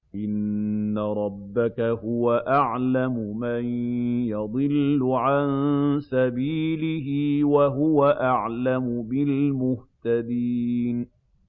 إِنَّ رَبَّكَ هُوَ أَعْلَمُ مَن يَضِلُّ عَن سَبِيلِهِ ۖ وَهُوَ أَعْلَمُ بِالْمُهْتَدِينَ